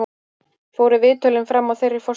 Fóru viðtölin fram á þeirri forsendu